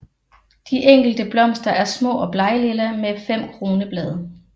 De enkelte blomster er små og bleglilla med fem kronblade